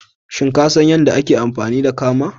Shin ka san yadda ake amfani da kama?